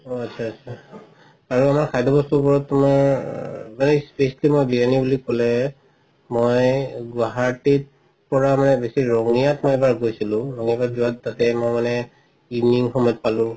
অ আতচা আতচা বাৰু আমাৰ খাদ্য বস্তুবোৰত তুমাৰ কলে মই গুৱাহাটীত পৰা মানে বেচি ৰঙিয়াত মই এবাৰ গৈছিলো ৰঙিয়াত যোৱা তাতে মই মানে evening সময়ত পালো